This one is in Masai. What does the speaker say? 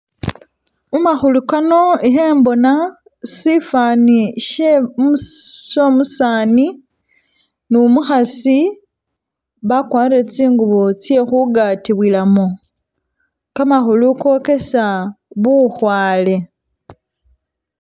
mumahulu kano ihembona sifaani shye umusi umusaani nu'muhasi, bakwalire tsingubo tsye hugatibwilamu, kamahulu kokesa buhwale